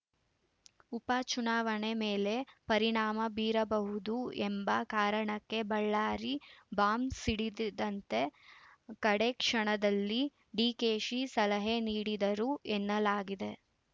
ಉಪಚುನಾವಣೆ ಮೇಲೆ ಪರಿಣಾಮ ಬೀರಬಹುದು ಎಂಬ ಕಾರಣಕ್ಕೆ ಬಳ್ಳಾರಿ ಬಾಂಬ್‌ ಸಿಡಿಸದಂತೆ ಕಡೇಕ್ಷಣದಲ್ಲಿ ಡಿಕೆಶಿ ಸಲಹೆ ನೀಡಿದರು ಎನ್ನಲಾಗಿದೆ